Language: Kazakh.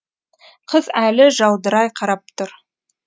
қыз әлі жаудырай қарап тұр